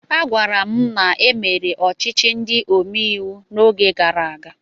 Agwara m na e mere ọchịchị ndị omeiwu n'oge gara aga.